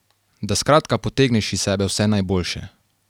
Da skratka potegneš iz sebe vse najboljše.